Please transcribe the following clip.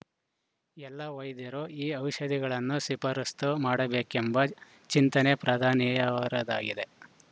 ಎಲ್ಲ ವೈದ್ಯರೂ ಈ ಔಷಧಿಗಳನ್ನು ಶಿಫಾರಸ್ತು ಮಾಡಬೇಕೆಂಬ ಚಿಂತನೆ ಪ್ರಧಾನಿಯವರದಾಗಿದೆ